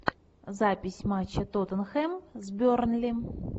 запись матча тоттенхэм с бернли